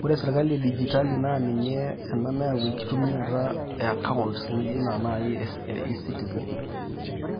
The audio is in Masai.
Kore sirkali edijitali naa ninye ana neyau enkitumiata ya accounts naji E-citizen.